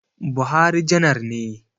Buhari janar ne